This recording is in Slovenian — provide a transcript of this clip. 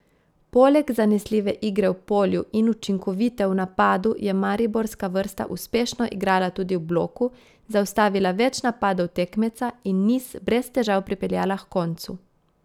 Poleg zanesljive igre v polju in učinkovite v napadu je mariborska vrsta uspešno igrala tudi v bloku, zaustavila več napadov tekmeca in niz brez težav pripeljala h koncu.